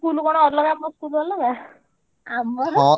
School କଣ ଅଲଗା ମୋ school କଣ ଅଲଗା। ଆମର